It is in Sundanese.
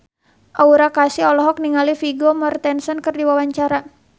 Aura Kasih olohok ningali Vigo Mortensen keur diwawancara